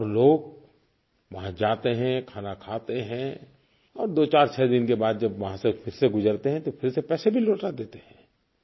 और लोग वहाँ जाते हैं खाना खाते हैं और 246 दिन के बाद जब वहाँ से फिर से गुजरते हैं तो फिर से पैसे भी लौटा देते हैं